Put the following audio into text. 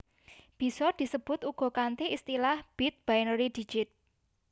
Bisa disebut uga kanthi istilah Bit Binary Digit